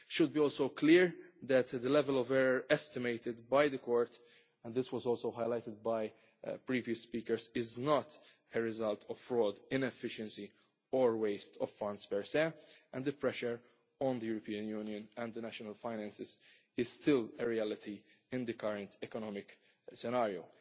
It should also be clear that the level of error estimated by the Court and this was also highlighted by previous speakers is not a result of fraud, inefficiency or waste of funds per se and the pressure on the European Union and the national finances is still a reality in the current economic scenario.